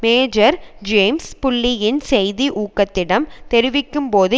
major James புல்லியின் செய்தி ஊகத்திடம் தெரிவிக்கும்போது